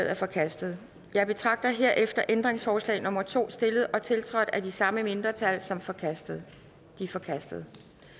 er forkastet jeg betragter herefter ændringsforslag nummer to stillet og tiltrådt af de samme mindretal som forkastet det er forkastet